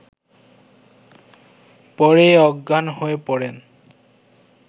পরে অজ্ঞান হয়ে পড়েন